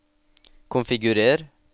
konfigurer